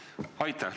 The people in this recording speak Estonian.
Aitäh!